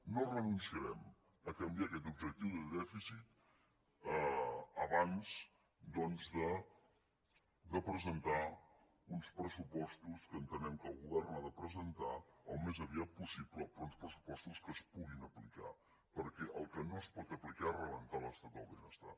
no renunciarem a canviar aquest objectiu de dèficit abans doncs de presentar uns pressupostos que entenem que el govern ha de presentar al més aviat possible però uns pressupostos que es puguin aplicar perquè el que no es pot aplicar és rebentar l’estat del benestar